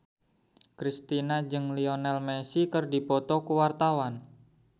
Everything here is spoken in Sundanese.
Kristina jeung Lionel Messi keur dipoto ku wartawan